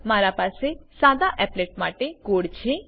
મારા પાસે સદા એપ્લેટ માટે કોડ છે